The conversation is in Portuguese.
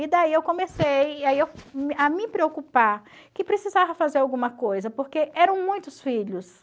E daí eu comecei e aí eu a me preocupar que precisava fazer alguma coisa, porque eram muitos filhos.